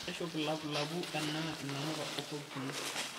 aishop ilapulapu enaa inamuka o sokisini